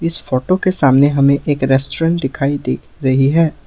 Photo के सामने हमें एक रेस्टोरेंट दिखाई दे रही है।